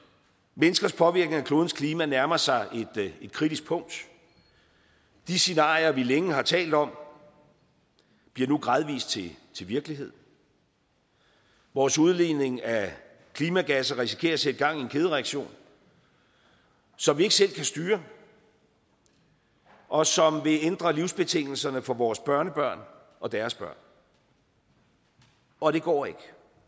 menneskers påvirkning af klodens klima nærmer sig et kritisk punkt de scenarier vi længe har talt om bliver nu gradvist til virkelighed vores udledning af klimagasser risikerer at sætte gang i en kædereaktion som vi ikke selv kan styre og som vil ændre livsbetingelserne for vores børnebørn og deres børn og det går ikke